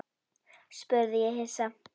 spurði ég hissa.